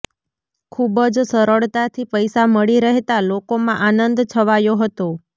ખૂબજ સરળતાથી પૈસા મળી રહેતા લોકોમાં આનંદ છવાયો હતો